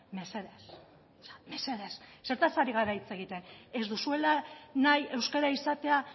mesedez mesedez zertaz ari gara hitz egiten ez duzuela nahi euskara izatea